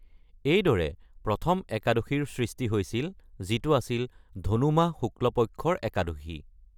এইদৰে প্ৰথম একাদশীৰ সৃষ্টি হৈছিল, যিটো আছিল ধনু মাহ শুক্ল পক্ষৰ একাদশী।